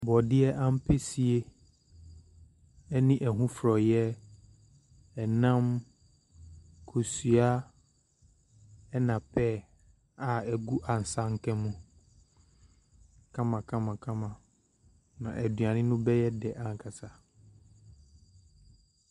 Borɔdeɛ ampesie ne ɛho frɔeɛ. Ɛnam, kosua na pear a egu asanka mu kamakamakama. Na aduane no bɛyɛ dɛ ankasa.